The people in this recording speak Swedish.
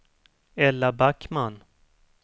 Ella Backman